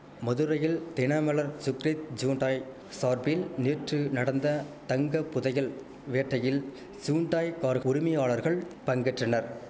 மதுரையில் தினமலர் சுக்ரித் ஜூண்டாய் சார்பில் நேற்று நடந்த தங்கப்புதையல் வேட்டையில் சூண்டாய் கார் உரிமையாளர்கள் பங்கேற்றனர்